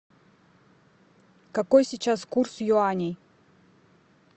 какой сейчас курс юаней